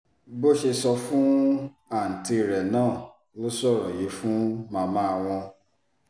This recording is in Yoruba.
bó ṣe sọ fún àùntí rẹ̀ náà ló sọ̀rọ̀ yìí fún màmá wọn